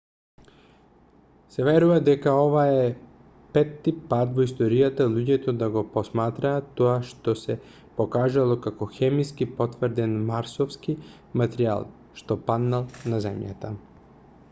се верува дека ова е петти пат во историјата луѓето да го посматраат тоа што се покажало како хемиски потврден марсовски материјал што паднал на земјата